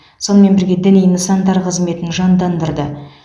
сонымен бірге діни нысандар қызметін жандандырды